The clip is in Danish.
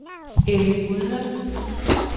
Elly Gundersen